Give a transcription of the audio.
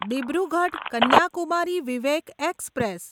Dibrugarh Kanyakumari Vivek express